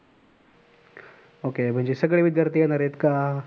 okay म्हणजे सगळे विद्यार्थी येणार आहेत का?